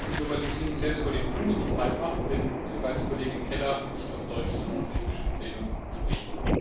gelernt, dass die Globalisierung selbst vor den Grünen nicht haltmacht, wenn sogar die Kollegin Keller nicht auf Deutsch, sondern auf Englisch im Plenum spricht.